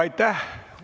Aitäh!